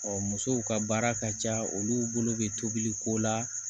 musow ka baara ka ca olu bolo bɛ tobili ko la